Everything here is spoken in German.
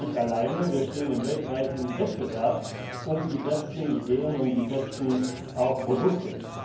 Wir sind nicht alleine, wir stehen im weltweiten Wettbewerb um die besten Ideen, auch um die besten Produkte.